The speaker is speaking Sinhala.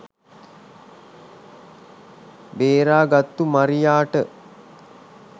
බේරාගත්තු මරියාට